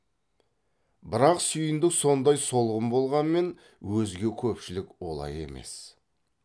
бірақ сүйіндік сондай солғын болғанмен өзге көпшілік олай емес